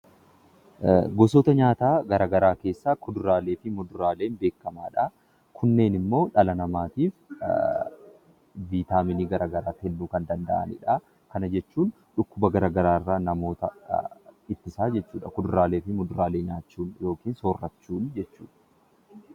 Gosoota nyaataa keessaa kuduraalee fi muduraaleen beekamoo dha. Kunneen immoo dhala namaatiif viitaminii hedduu kennuu kan danda'anii dha. Kana jechuun dhukkuba garaa garaa irraa namoota ittisaa jechuudha. Kuduraalee fi fuduraalee soorachuun jechuudha.